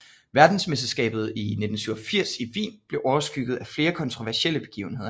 Verdensmesterskabet i 1987 i Wien blev overskygget af flere kontroversielle begivenheder